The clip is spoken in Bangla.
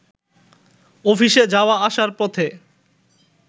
অফিসে যাওয়া-আসার পথে